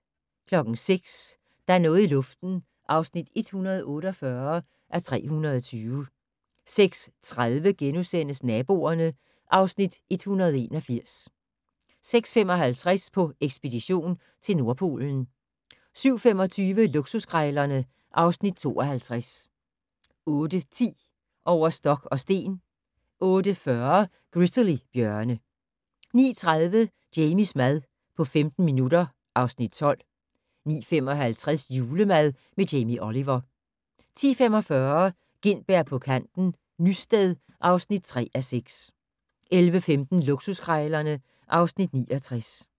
06:00: Der er noget i luften (148:320) 06:30: Naboerne (Afs. 181)* 06:55: På ekspedition til Nordpolen 07:25: Luksuskrejlerne (Afs. 52) 08:10: Over stok og sten 08:40: Grizzly-bjørne 09:30: Jamies mad på 15 minutter (Afs. 12) 09:55: Julemad med Jamie Oliver 10:45: Gintberg på kanten - Nysted (3:6) 11:15: Luksuskrejlerne (Afs. 69)